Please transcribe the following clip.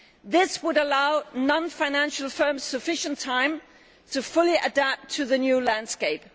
This would allow non financial firms sufficient time to fully adapt to the new landscape.